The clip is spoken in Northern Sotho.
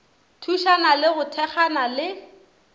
thušana le go thekgana le